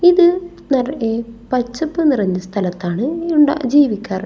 ഇത് നിറയെ പച്ചപ്പ് നിറഞ്ഞ സ്ഥലത്താണ് ഉണ്ടാ ജീവിക്കാറ്.